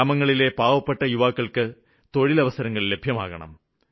ഗ്രാമത്തിലെ പാവപ്പെട്ട യുവാക്കള്ക്ക് തൊഴിലവസരങ്ങള് ലഭ്യമാക്കണം